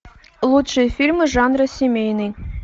лучшие фильмы жанра семейный